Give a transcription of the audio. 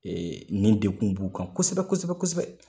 Ee nin degu b'u kan kosɛbɛ kosɛbɛ kosɛbɛ